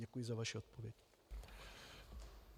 Děkuji za vaši odpověď.